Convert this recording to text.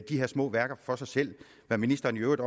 her små værker for sig selv hvad ministeren i øvrigt